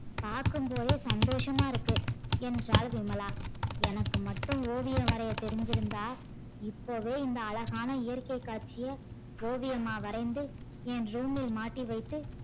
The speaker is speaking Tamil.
பாக்கும் போதே சந்தோசமா இருக்கு என்றால் விமலா எனக்கு மட்டும் ஓவியம் வரைய தெரிஞ்சி இருந்தால் இப்பவே இந்த அழகான இயற்க்கை காட்ச்சிய ஓவியமா வரைந்து ஏன் room இல் மாட்டி வைத்து